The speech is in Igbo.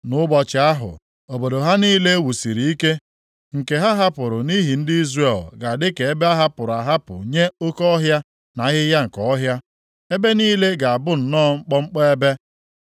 Nʼụbọchị ahụ, obodo ha niile e wusiri ike, nke ha hapụrụ nʼihi ndị Izrel, ga-adị ka ebe ahapụrụ ahapụ nye oke ọhịa na ahịhịa nke ọhịa. Ebe niile ga-abụ nnọọ mkpọmkpọ ebe.